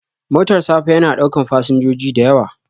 Motar safa ya na ɗaukan fasinjoji da yawa